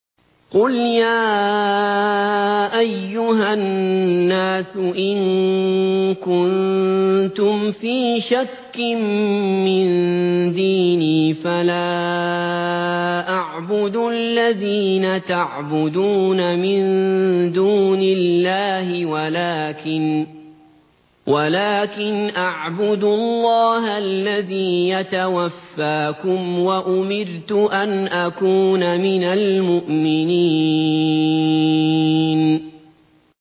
قُلْ يَا أَيُّهَا النَّاسُ إِن كُنتُمْ فِي شَكٍّ مِّن دِينِي فَلَا أَعْبُدُ الَّذِينَ تَعْبُدُونَ مِن دُونِ اللَّهِ وَلَٰكِنْ أَعْبُدُ اللَّهَ الَّذِي يَتَوَفَّاكُمْ ۖ وَأُمِرْتُ أَنْ أَكُونَ مِنَ الْمُؤْمِنِينَ